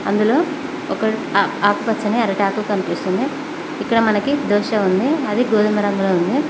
ఇందులో ఒక ఆకుపచ్చ నీ అరిటాకు కనిపిస్తుంది ఇక్కడ మనకు దోష ఉంది అది గోధుమ రంగులో ఉంది.